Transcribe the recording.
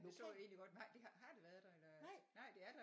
Det så jeg egentlig godt har det været der eller nej det er der